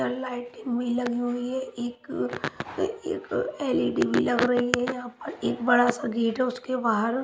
लाइटी हुई लगी हुई है एक एक एलईडी भी लग रही है यहाँ पर एक बड़ा सा गेट है उसके बाहर--